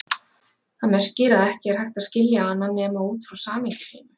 Það merkir að ekki er hægt að skilja hana nema út frá samhengi sínu.